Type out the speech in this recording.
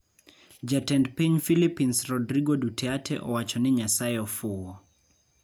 Jatend Piny Philippines Rodrigo Duterte Owacho ni Nyasaye 'ofuwo'